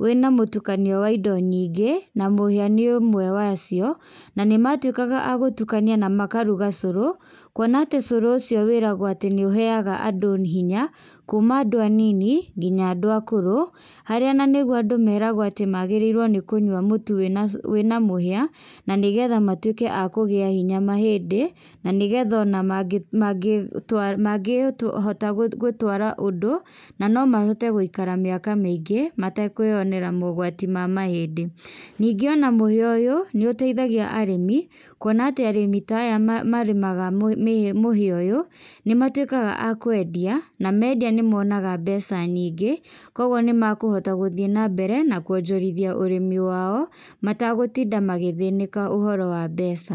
wĩna mũtukanio wa indo nyingĩ na mũhĩa nĩ ũmwe wacio. Na nĩmatuĩkaga a gũtukania na makaruga cũrũ, kuona atĩ cũrũ ucio wĩragwo atĩ nĩ ũheaga andũ hinya kuuma andũ anini nginya andũ akũrũ. Harĩa na nĩguo andũ meragwo atĩ nĩ magĩrĩire mũtu wĩna mũhĩa na nĩgetha matuĩke a kũgĩa hinya mahĩndĩ na nĩgetha ona mangĩhota gũtwara ũndũ na no mahote gũikara mĩaka mĩingĩ matekwĩonera mogwati ma mahĩndĩ. Ningĩ ona mũhĩa ũyũ nĩ ũteithagia arĩmi kuona atĩ arĩmi ta aya marĩmaga mũhĩa ũyũ nĩ matuĩkaga a kwendia na mendia nĩ monaga mbeca nyingĩ kwoguo nĩmekũhota gũthiĩ nambere na kuonjorithia ũrĩmi wao, mategũtinda magĩthĩnĩka ũhoro wa mbeca.